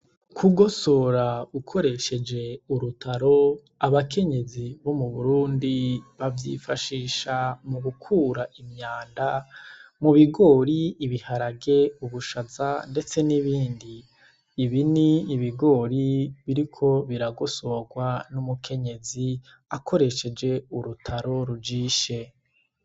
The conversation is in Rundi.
Kugosora ukoresheje urutaro abakenyezi bo mu burundi bavyifashisha mu gukura imyanda mu bigori ibiharage ubushaza, ndetse n'ibindi ibini ibigori biriko biragosorwa n'umukenyezik resheje urutaro rujishe.